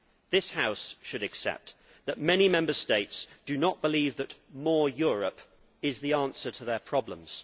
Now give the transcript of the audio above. This House should accept that many Member States do not believe that more Europe is the answer to their problems.